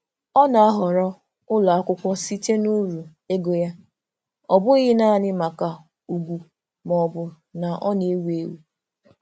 Ọ na-ahọrọ ụlọakwụkwọ site n'uru ego ya, ọ bụghị naanị maka ugwu maọbụ na ọ na-ewu ewu.